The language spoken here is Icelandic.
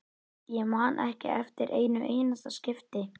Ég man ekki eftir einu einasta skipti.